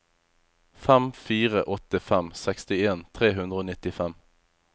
fem fire åtte fem sekstien tre hundre og nittifem